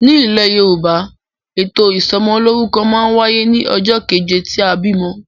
Nilè Yorùbá, ètò ìsomolórúkọ ma n wáyé ní ojó keje tí a bìmo